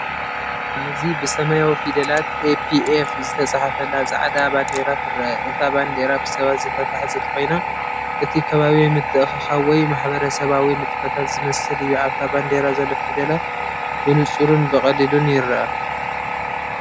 ኣብዚ ብሰማያዊ ፊደላት “ኤፒኤፍ” ዝተጻሕፈላ ጻዕዳ ባንዴራ ትረአ። እታ ባንዴራ ብሰባት ዝተታሕዘት ኮይና፡ እቲ ከባቢ ምትእኽኻብ ወይ ማሕበረሰባዊ ንጥፈታት ዝመስል እዩ። ኣብታ ባንዴራ ዘሎ ፊደላት ብንጹርን ብቐሊሉን ይርአ።